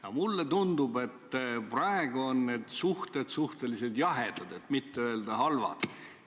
Aga mulle tundub, et praegu on need suhted suhteliselt jahedad, et mitte öelda halvad.